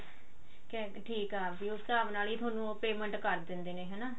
ਠੀਕ ਆ ਵੀ ਉਸ ਹਿਸਾਬ ਨਾਲ ਹੀ ਥੋਨੂੰ ਉਹ payment ਕਰ ਦਿੰਦੇ ਨੇ ਹਨਾ